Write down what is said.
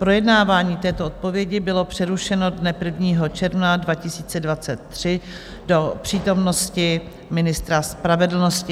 Projednávání této odpovědi bylo přerušeno dne 1. června 2023 do přítomnosti ministra spravedlnosti.